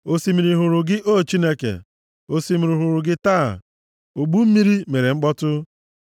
Osimiri hụrụ gị, O Chineke, osimiri hụrụ gị, taa; ogbu mmiri mere mkpọtụ.